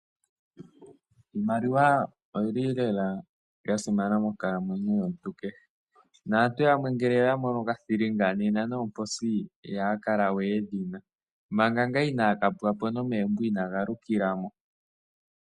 Iimaliwa oyi li lela ya simana moonkalamwenyo yomuntu kehe , naantu yamwe ngele oya mono okathillinga, nena noomposi iyaa kala we yedhi na. Manga ngaa inaa ka pwa po, nomeembo ina galukila mo.